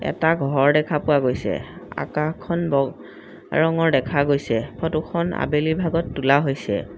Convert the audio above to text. এটা ঘৰ দেখা পোৱা গৈছে আকাশখন ব ৰঙৰ দেখা গৈছে ফটোখন আবেলিৰ ভাগত তোলা হৈছে।